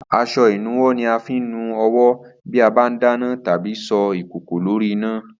As̩o̩ ìnuwó̩ ni a fi ń nu o̩wó̩ bí a bá ń dáná tàbí so̩ ìkòkò lórí iná